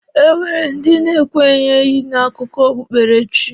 E nwere ndi na-ekwenyeghị n'akụkọ okpukpere chi.